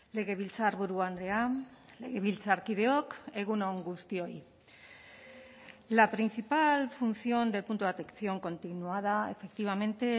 legebiltzarburu andrea legebiltzarkideok egun on guztioi la principal función del punto de atención continuada efectivamente